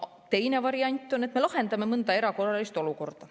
Teine variant on, et me lahendame mõnda erakorralist olukorda.